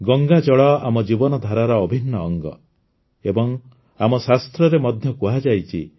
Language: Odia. ଗଙ୍ଗା ଜଳ ଆମ ଜୀବନଧାରାର ଅଭିନ୍ନ ଅଙ୍ଗ ଏବଂ ଆମ ଶାସ୍ତ୍ରରେ ମଧ୍ୟ କୁହାଯାଇଛି